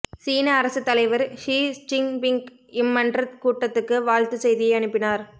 சீன அரசுத் தலைவர் ஷி ச்சின்பிங் இம்மன்றக்கூட்டத்துக்கு வாழ்த்துச் செய்தியை அனுப்பினார்